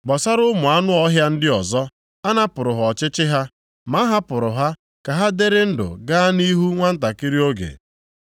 (Gbasara ụmụ anụ ọhịa ndị ọzọ, a napụrụ ha ọchịchị ha, ma a hapụrụ ha ka ha dịrị ndụ gaa nʼihu nwantakịrị oge).